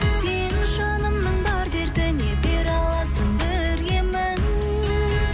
сен жанымның бар дертіне бере аласың бір емін